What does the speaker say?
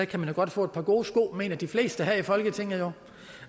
kan man da godt få et par gode sko mener de fleste her i folketinget